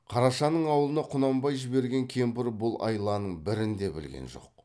қарашаның аулына құнанбай жіберген кемпір бұл айланың бірін де білген жоқ